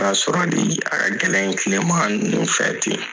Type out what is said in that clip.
sɔrɔ